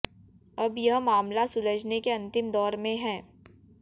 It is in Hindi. अब यह मामला सुलझने के अंतिम दौर में है